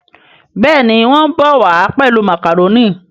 Béèni wón bó wá pèlú macaroni.